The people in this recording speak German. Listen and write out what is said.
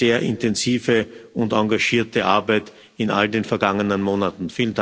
sehr intensive und engagierte Arbeit in all den vergangenen Monaten.